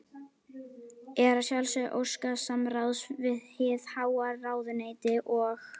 Er að sjálfsögðu óskað samráðs við hið háa ráðuneyti og